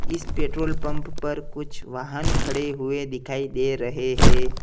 इस petrol pump पर कुछ वाहन खड़े हुए दिखाई दे रहे हैं।